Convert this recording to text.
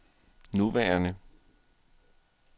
nuværende